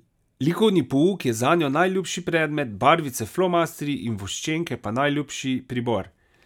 Likovni pouk je zanjo najljubši predmet, barvice, flomastri in voščenke pa najljubši pribor.